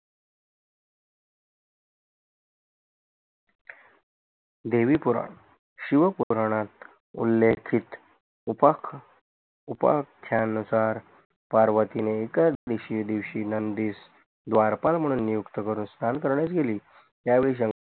देवीपुराण शिवपूरणात उलेखित उप उपखयानुसार पार्वतीने एक दिवशी नंदिस द्वारपाल म्हणून नियुक्त करून स्नान करण्यास गेली यावेळी